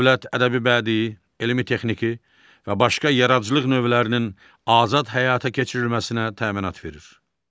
Dövlət ədəbi bədii, elmi texniki və başqa yaradıcılıq növlərinin azad həyata keçirilməsinə təminat verir.